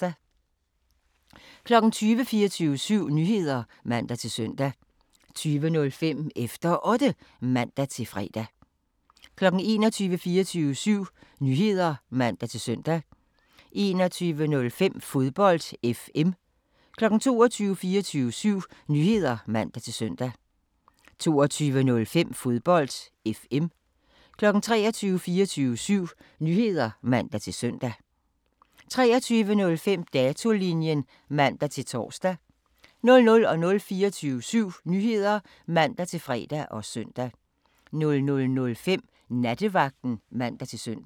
20:00: 24syv Nyheder (man-søn) 20:05: Efter Otte (man-fre) 21:00: 24syv Nyheder (man-søn) 21:05: Fodbold FM 22:00: 24syv Nyheder (man-søn) 22:05: Fodbold FM 23:00: 24syv Nyheder (man-søn) 23:05: Datolinjen (man-tor) 00:00: 24syv Nyheder (man-fre og søn) 00:05: Nattevagten (man-søn)